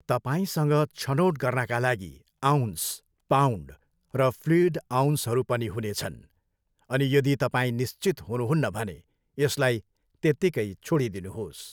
तपाईँसँग छनोट गर्नाका लागि अउन्स, पाउन्ड र फ्लुइड अउन्सहरू पनि हुनेछन्, अनि यदि तपाईँ निश्चित हुनुहुन्न भने यसलाई त्यत्तिकै छोडिदिनुहोस्।